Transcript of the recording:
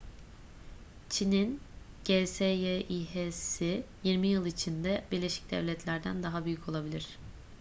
çin'in gsyi̇h'si yirmi yıl içinde birleşik devletler'den daha büyük olabilir